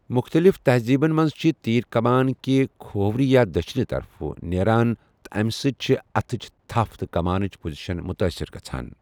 مختلف تہزیٖبَن منٛز چھِ تیر کمان کہِ کھوورِ یا دٔچِھنہِ طرفہٕ نیران تہٕ امہِ سۭتۍ چھِ اتھٕچ تَھپھ تہٕ کمانٕچ پوزیشن متٲثِر گژھان۔